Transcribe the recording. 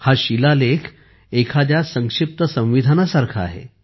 हा शिलालेख एखाद्या संक्षिप्त संविधानासारखा आहे